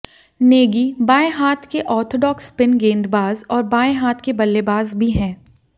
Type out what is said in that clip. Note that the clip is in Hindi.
नेगी बाएं हाथ के ऑर्थोडॉक्स स्पिन गेंदबाज़ और बाएं हाथ के बल्लेबाज़ भी हैं